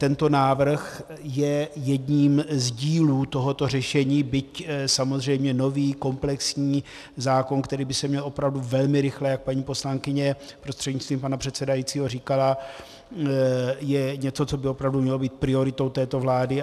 Tento návrh je jedním z dílů tohoto řešení, byť samozřejmě nový komplexní zákon, který by se měl opravdu velmi rychle, jak paní poslankyně prostřednictvím pana předsedajícího říkala, je něco, co by opravdu mělo být prioritou této vlády.